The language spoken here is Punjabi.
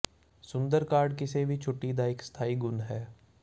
ਸੁੰਦਰ ਕਾਰਡ ਕਿਸੇ ਵੀ ਛੁੱਟੀ ਦਾ ਇੱਕ ਸਥਾਈ ਗੁਣ ਹੈ